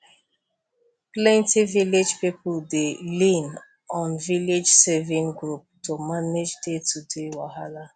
plenty village people dey lean on village saving group to manage daytoday wahala